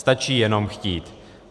Stačí jenom chtít.